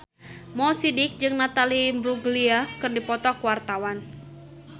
Mo Sidik jeung Natalie Imbruglia keur dipoto ku wartawan